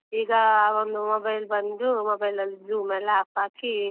ಈಗ ಒಂದು mobile ಬಂದು mobile ಲಿ Zoom ಲಿ apps ಹಾಕಿ.